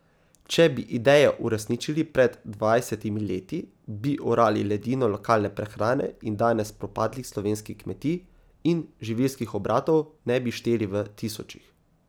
Če bi idejo uresničili pred dvajsetimi leti, bi orali ledino lokalne prehrane in danes propadlih slovenskih kmetij in živilskih obratov ne bi šteli v tisočih.